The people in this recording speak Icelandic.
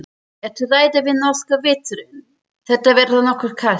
Ertu hræddur við norska veturinn, það verður nokkuð kalt?